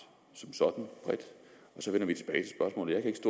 to tusind